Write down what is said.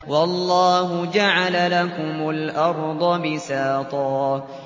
وَاللَّهُ جَعَلَ لَكُمُ الْأَرْضَ بِسَاطًا